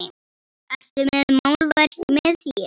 Ertu með málverk með þér?